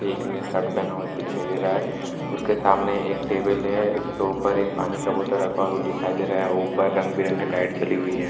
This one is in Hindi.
एक ने शर्ट पहना हुआ है दिखाई दे रहा है उसके सामने एक टेबल है उसके ऊपर पानी का बोतल रखा हुआ है वह दिखाई दे रहा है और ऊपर रंग बिरंगे लाइट जली हुई हैं ।